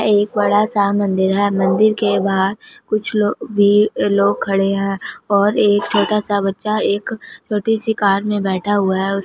एक बड़ा सा मंदिर है मंदिर के बाहर कुछ लोग भी लोग खड़े हैं और एक छोटा सा बच्चा एक छोटी सी कार में बैठा हुआ है।